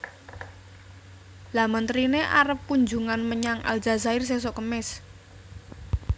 Lha menterine arep kunjungan menyang Aljazair sesok kemis